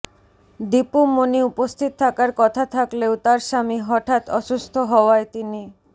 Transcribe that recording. দিপু মনি উপস্থিত থাকার কথা থাকলেও তার স্বামী হঠাৎ অসুস্থ হওয়ায় তিনি